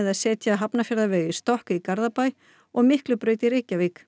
að setja Hafnarfjarðarveg í stokk í Garðabæ og Miklubraut í Reykjavík